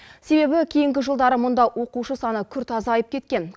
себебі кейінгі жылдары мұнда оқушы саны күрт азайып кеткен